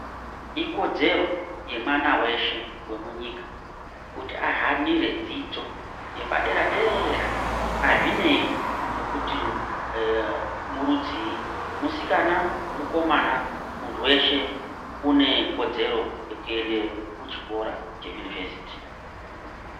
Ikodzero yemwana weshe wemunyika kuti ahanire dzidzo yepadera dera azvinei nekuti ee murudziii musikana mukomana muntu weshe unekodzero Yekuende kuchiro cheyunivhesiti.